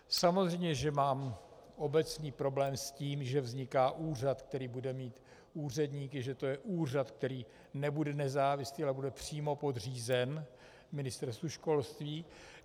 Samozřejmě že mám obecný problém s tím, že vzniká úřad, který bude mít úředníky, že to je úřad, který nebude nezávislý, ale bude přímo podřízen Ministerstvu školství.